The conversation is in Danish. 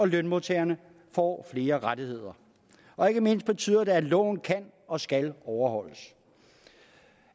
lønmodtagerne får flere rettigheder og ikke mindst betyder det at loven kan og skal overholdes